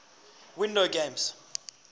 windows games